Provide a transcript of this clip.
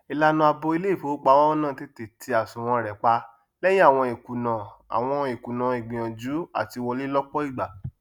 ìlànà àbò iléìfowópamọ náà tètè tí àsùwọn rẹ pá lẹyìn àwọn ìkùnà àwọn ìkùnà ìgbìyànjú àtí wọlé lọpọ ìgbà